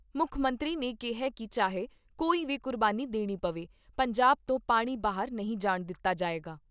ਮੁੱਖ ਮੰਤਰੀ ਨੇ ਕਿਹਾ ਕਿ ਚਾਹੇ ਕੋਈ ਵੀ ਕੁਰਬਾਨੀ ਦੇਣੀ ਪਵੇ, ਪੰਜਾਬ ਤੋਂ ਪਾਣੀ ਬਾਹਰ ਨਹੀਂ ਜਾਣ ਦਿੱਤਾ ਜਾਏਗਾ।